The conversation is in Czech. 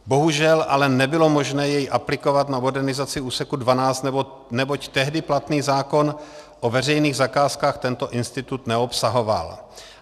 Bohužel ale nebylo možné jej aplikovat na modernizaci úseku 12, neboť tehdy platný zákon o veřejných zakázkách tento institut neobsahoval.